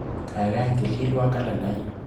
Kaikai tililwo kalendainyu.